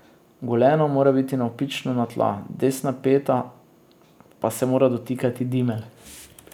Goleno mora biti navpično na tla, desna peta pa se mora dotikati dimelj.